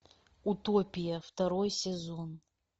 утопия второй сезон